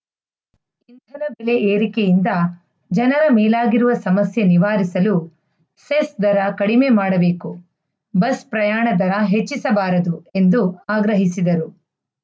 ಬೆಲೆ ಏರಿಕೆಯಿಂದ ಜನರ ಮೇಲಾಗಿರುವ ಸಮಸ್ಯೆ ನಿವಾರಿಸಲು ಸೆಸ್‌ ದರ ಕಡಿಮೆ ಮಾಡಬೇಕು ಬಸ್‌ ಪ್ರಯಾಣ ದರ ಹೆಚ್ಚಿಸಬಾರದು ಎಂದು ಆಗ್ರಹಿಸಿದರು